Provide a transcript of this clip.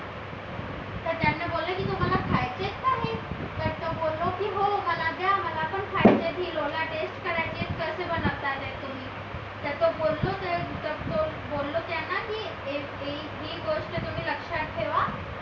खायचा आहे खा तर तो बोललो की हो द्या मला खायचं आहे ते लोला मला taste करायची आहे कसे बनवतात कोणी ही गोष्ट तुम्ही लक्षात ठेवा